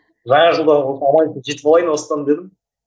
жаңа жылда жетіп алайын осыдан дедім